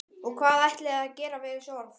Og hvað ætlið þér að gera við þessi orð?